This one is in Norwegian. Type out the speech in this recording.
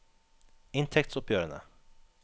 inntektsoppgjørene